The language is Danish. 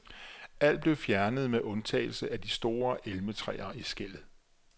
Alt blev fjernet med undtagelse af de store elmetræer i skellet.